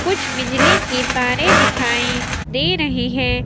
कुछ बिजली की तारे दिखाई दे रही है।